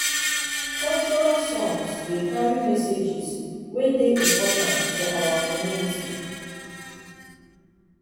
cultural songs dey carry messages wey dey important for our community.